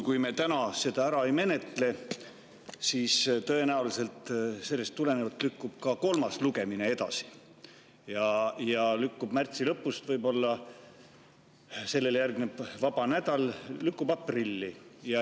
Kui me seda täna ära ei menetle, siis tõenäoliselt lükkub ka kolmas lugemine edasi ja võib-olla lükkub see märtsi lõpust, millele järgneb vaba nädal, aprilli.